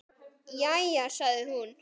Jæja sagði hún.